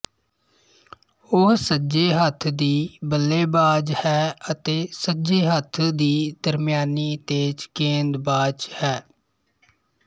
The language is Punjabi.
ਉਹ ਸੱਜੇ ਹੱਥ ਦੀ ਬੱਲੇਬਾਜ਼ ਹੈ ਅਤੇ ਸੱਜੇ ਹੱਥ ਦੀ ਦਰਮਿਆਨੀ ਤੇਜ਼ ਗੇਂਦਬਾਜ਼ ਹੈ